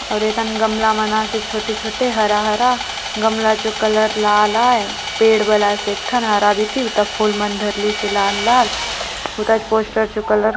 और येतन गमला मन आसे छोटे-छोटे हरा-हरा गमला चो कलर लाल आय पेड़ वलास एक ठन और हरा बीती ता फूल मन धरलीसे लाल लाल हुतास पोस्टर चो कलर --